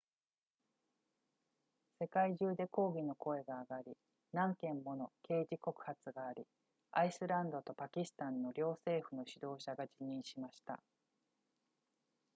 世界中で抗議の声が上がり何件もの刑事告発がありアイスランドとパキスタンの両政府の指導者が辞任しました